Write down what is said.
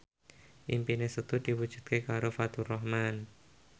impine Setu diwujudke karo Faturrahman